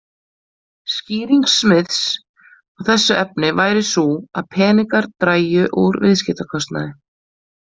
Skýring Smiths á þessu efni væri sú að peningar drægju úr viðskiptakostnaði.